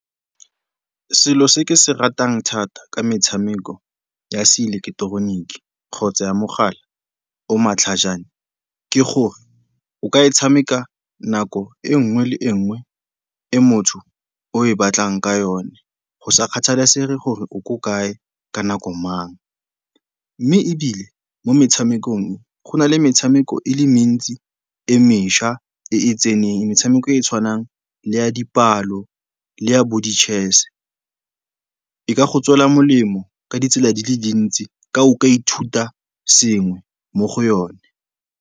Selo se ke se ratang thata ka metshameko ya seileketeroniki kgotsa ya mogala o o matlhajana, ke gore o ka e tshameka nako e nngwe le e nngwe e motho o e batlang ka yone go sa kgathalesege gore o ko kae, ka nako mang. Mme ebile mo metshamekong go na le metshameko e le mentsi e mešwa e e tseneng, metshameko e e tshwanang le ya dipalo le ya bodi-chess. Di ka go tswela molemo ka ditsela di le dintsi ka o ka ithuta sengwe mo go yone.